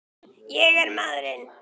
Ég er maðurinn!